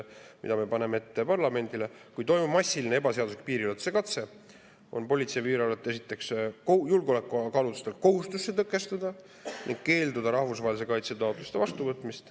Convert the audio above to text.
Me paneme parlamendile ette, et kui toimub massiline ebaseadusliku piiriületuse katse, siis on Politsei- ja Piirivalveametil esiteks julgeolekukaalutlustel kohustus see tõkestada ning keelduda rahvusvahelise kaitse taotluste vastuvõtmisest.